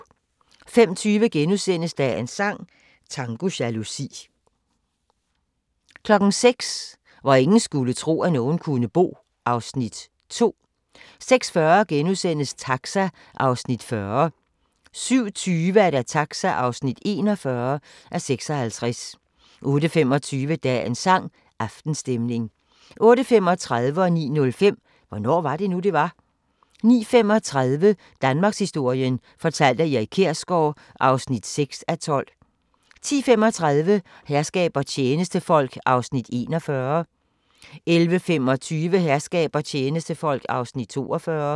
05:20: Dagens sang: Tango jalousi * 06:00: Hvor ingen skulle tro, at nogen kunne bo (Afs. 2) 06:40: Taxa (40:56)* 07:20: Taxa (41:56) 08:25: Dagens sang: Aftenstemning 08:35: Hvornår var det nu, det var? 09:05: Hvornår var det nu, det var? 09:35: Danmarkshistorien fortalt af Erik Kjersgaard (6:12) 10:35: Herskab og tjenestefolk (41:68) 11:25: Herskab og tjenestefolk (42:68)